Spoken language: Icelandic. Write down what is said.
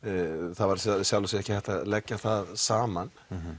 það var í sjálfu sér ekki hægt að leggja það saman